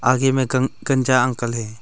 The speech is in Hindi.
आखिर में कंचा अंकल है।